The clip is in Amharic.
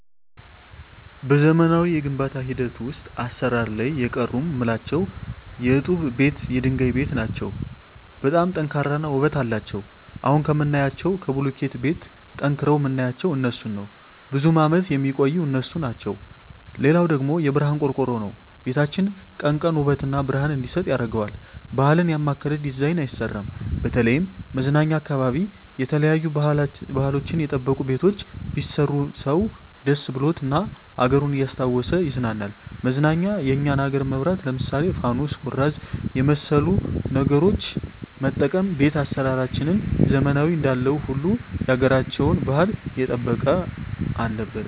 በዘመናዊ የግንባታ ሂደት ውሰጥ አሰራር ላይ የቀሩ ምላቸው የጡብ ቤት የድንጋይ ቤት ናቸው በጣም ጠንካራ እና ውበት አለቸው አሁን ከምናያቸው ከቡልኪት ቤት ጠንቅረዉ ምናያቸው እነሡን ነው ብዙም አመት የሚቆዩ እነሡ ናቸው ሌላው ደግሞ የብረሀን ቆርቆሮ ነው ቤታችን ቀን ቀን ውበት እና ብረሀን እንዲሰጥ ያረገዋል ባህል ያማከለ ዲዛይን አይሰራም በተለይም መዝናኛ አካባቢ የተለያዩ ባህልችን የጠበቁ ቤቶች ቢሰሩ ሰው ደስ ብሎት እና አገሩን እያስታወሱ ይቀናናል መዝናኛ የኛን አገር መብራት ለምሳሌ ፋኑስ ኩራዝ የመሠሉ ነገሮች መጠቀም ቤት አሰራራችንን ዘመናዊ እንዳለው ሁሉ ያገራቸውን ባህል የጠበቀ አለበት